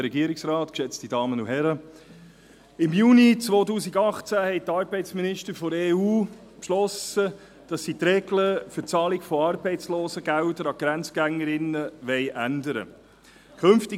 Im Juni 2018 haben die Arbeitsminister der EU beschlossen, dass sie die Regel für die Zahlung von Arbeitslosengeldern an Grenzgängerinnen ändern wollen.